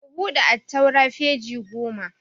Ku buɗe attaura peji goma!